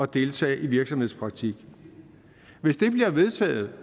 deltage i virksomhedspraktik hvis det bliver vedtaget